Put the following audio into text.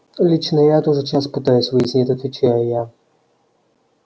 лично я это уже час пытаюсь выяснить отвечаю я